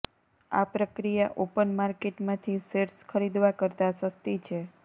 આ પ્રક્રિયા ઓપન માર્કેટમાંથી શેર્સ ખરીદવા કરતાં સસ્તી છે